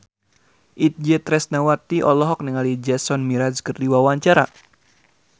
Itje Tresnawati olohok ningali Jason Mraz keur diwawancara